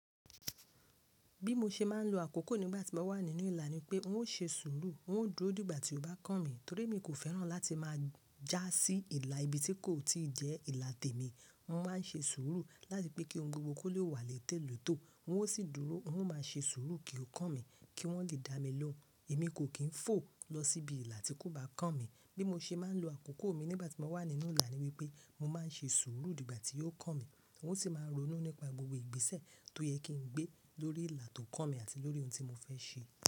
Bí mo ṣe máa ń lo àkókò nígbà tí mo wà nínú ìlà ni pé n ó ṣe sùúrù, n ó dúró nígbà tí ó bá kàn mí torí mi kò fẹ́ràn láti máa já sí ìlà ibi tí kò tí jẹ́ ìlà tèmi. N máa ń ṣe sùúrù láti pé kí ohun gbogbo kó le wà létè lótò. N ó sì dúró, n ó ma ṣe sùúrù kí ó kàn mí kí wọ́n le dá mi lóhùn. Èmi kò kí ń fò lọ síbi ìlà tí kò bá kàn mí. Bí mo ṣe máa ń lo àkókò mi nígbà tí mo wà nínú ìlà ni wípé mo máa ń ṣe sùúrù dígbà tí yó kàn mí. N ó sì máa ronú nípa gbogbo ìgbésẹ̀ tó yẹ kí n gbé lórí ìlà tó kàn mí àti lórí ohun tí mo fẹ́ ṣe.